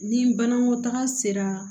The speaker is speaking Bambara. Ni banakɔtaga sera